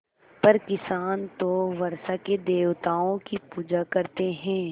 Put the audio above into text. पर किसान तो वर्षा के देवताओं की पूजा करते हैं